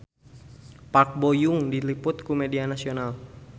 Park Bo Yung diliput ku media nasional